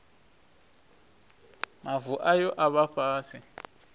mavu ayo a vha fhasi